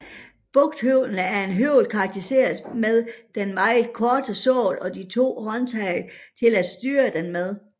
Bugthøvlen er en høvl karakteristisk med den meget korte sål og de to håndtag til at styre den med